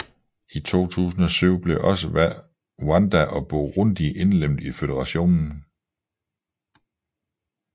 I 2007 blev også Rwanda og Burundi indlemmet i føderationen